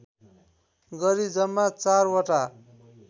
गरी जम्मा चारवटा